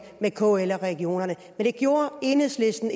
med kl eller regionerne enhedslisten